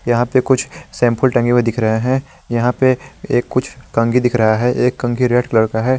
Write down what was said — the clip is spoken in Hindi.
यहां पे कुछ शैंपू टंगे हुएं दिख रहे हैं यहां पे कुछ कंघी दिख रहा हैं एक कंघी रेड कलर का है।